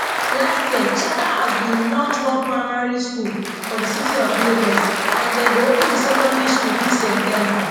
last year charterhouse bin launch one primary school for di city of lagos and dem go open di secondary school dis september